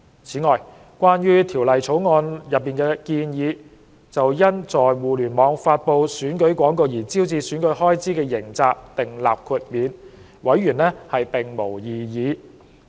此外，關於《條例草案》內建議，就因在互聯網發布選舉廣告而招致選舉開支的刑責訂立豁免，委員並無異議。